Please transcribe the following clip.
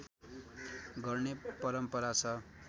गर्ने परम्परा छ